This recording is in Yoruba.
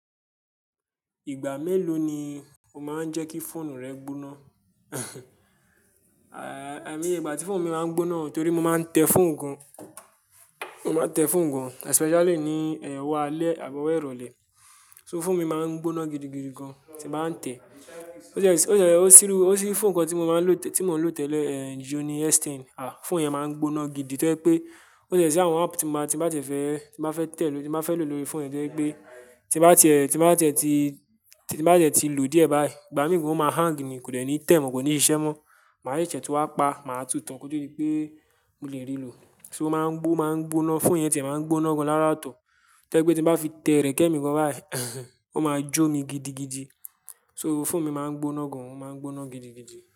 Ìgbà mélòó ni o máa ń jẹ́ kí fóònù rẹ gbóná? Àimòye ìgbà tí fóònù mi máa ń gbóná torí mo máa ń tẹ fóònù gan. Mo máa ń tẹ fóònù gan especially ní, eh, ọwó alẹ́ àbi ọwó ìrọ̀lẹ́. So fóònù mi máa ń gbóná gidigidi gan tí bàá ń tẹ. Ó ṣe, ó ṣe, ó ṣi rú, ó ṣi fóònù kan tí mo máa ń lò tẹ́lẹ̀, eh, Xiaomi S10, ah, fóònù yẹn máa ń gbóná gidi tó ẹ pé ó ṣe sí àwọn app tí mo bá, tí bá tẹ fẹ́, tí bá fẹ́ tẹ̀ ló, tí bá fẹ́ lò lórí fóònù yẹn tó ẹ pé tí bá te, tí bá te ti tí, tí bá tẹ tí lò díẹ̀ báyìí, ìgbà mìíràn ó máa hang ni kò dẹ́ni tẹ̀ mọ́, kò ní iṣẹ́ mọ́. Màá yí ṣẹ́ tí ó bá pa, màá tú tán kí ó tó rí pé mo lè rí lò. So ó máa ń gbó, máa ń gbóná, fóònù yẹn tìyẹ̀ máa ń gbóná gan lára tọ̀. Tẹ́ ẹ́ pé tí bá fi tẹ erẹ́kẹ́ mi gan báyìí, ó máa jó mi gidigidi. So fóònù mi máa ń gbóná gan, ó máa ń gbóná gidigidi.